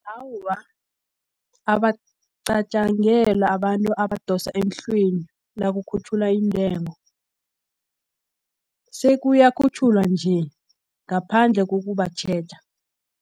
Awa, abacatjangelwa abantu abadosa emhlweni, nakukhutjhulwa iintengo, sekuyakhutjhulwa nje, ngaphandle kokubatjheja.